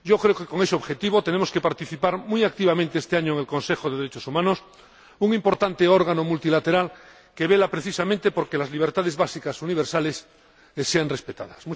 Creo que con ese objetivo tenemos que participar muy activamente este año en el Consejo de Derechos Humanos, un importante órgano multilateral que vela, precisamente, por que las libertades básicas universales sean respetadas.